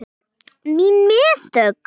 Mín mistök.